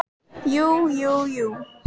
Jú, jú, jú.